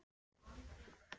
Þú hefðir kannski betur.